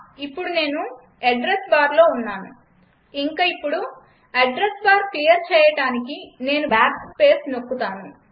ఇప్పుడు నేను అడ్రెస్ barలో ఉన్నాను యింక యిప్పుడు అడ్రస్ బార్ క్లియర్ చేయడానికి నేను బాక్ స్పేస్ నొక్కుతాను